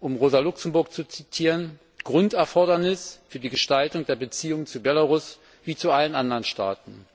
um Rosa Luxemburg zu zitieren Grunderfordernis für die Gestaltung der Beziehung zu Belarus wie zu allen anderen Staaten.